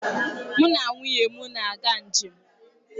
Mụ na nwunye m na-aga njem